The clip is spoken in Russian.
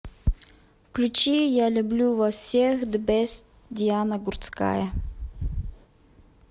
включи я люблю вас всех зе бест диана гурцкая